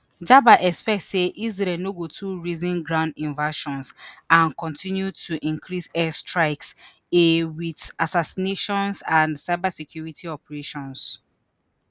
jaber expect say israel no go too reason ground invasions and kontinu to increase air strikes a wit assassinations and cybersecurity operations